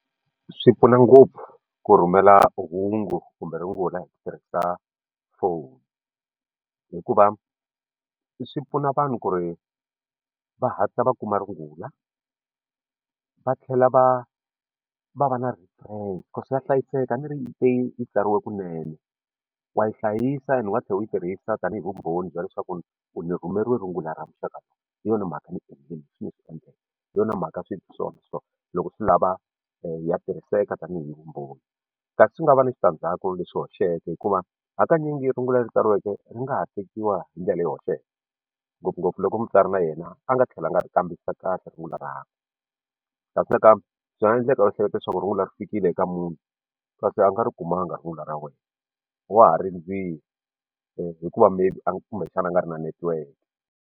Swi pfuna ngopfu ku rhumela hungu kumbe rungula hi ku tirhisa phone hikuva swi pfuna vanhu ku ri va hatla va kuma rungula va tlhela va va va na swa hlayiseka a ni ri yi te yi tsariwe kunene wa yi hlayisa ene u nga tlhela u yi tirhisa tanihi vumbhoni bya leswaku u ni rhumeriwe rungula ra muxaka hi yona mhaka ni endlini hi yona mhaka so loko swi lava ya tirhiseka tanihi vumbhoni kasi swi nga va na switandzhaku leswi hoxeke hikuva hakanyingi rungula leri tsariweke ri nga ha tekiwa hi ndlela yo hoxeke ngopfungopfu loko mutsari na yena a nga tlhelanga a kambisisa kahle rungula rakwe kasi nakambe swi nga endleka u hleketa leswaku rungula ri fikile ka munhu kasi a nga ri kumanga rungula ra wena wa ha rindzili hikuva maybe a kumbexana a nga ri na netiweke.